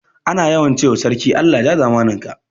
Ana yawan ce ma sarki Allah ya ja zamanin ka